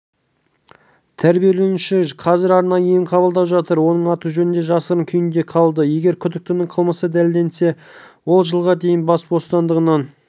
жәбірленуші қазір арнайы ем қабылдап жатыр оның аты-жөні де жасырын күйінде қалды егер күдіктінің қылмысы дәлелденсе ол жылға дейін бас бостандығынан